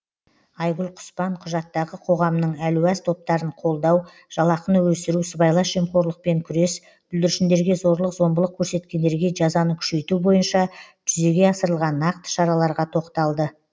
айгүл құспан құжаттағы қоғамның әлуаз топтарын қолдау жалақыны өсіру сыбайлас жемқорлықпен күрес бүлдіршіндерге зорлық зомбылық көрсеткендерге жазаны күшейту бойынша жүзеге асырылған нақты шараларға тоқталды